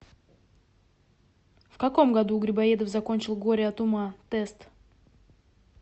в каком году грибоедов закончил горе от ума тест